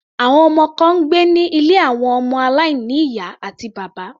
Àwọn ọmọ kan ń gbé ní ilé àwọn ọmọ aláìní ìyá àti bàbá.